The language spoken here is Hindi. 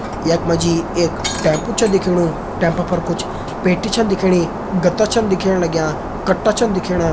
यख मा जी एक टेम्पो छ दिखेणु टेम्पो पर कुछ पेटी छन दिखेणी गत्ता छन दिखेण लग्यां कट्टा छन दिखेणा।